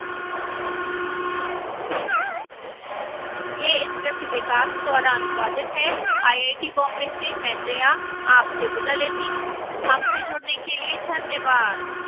यह स्क्रिप्ट विकास द्वारा अनुवादित है आईआईटी बॉम्बे से मैं जया अब आपसे विदा लेती हूं धन्यवाद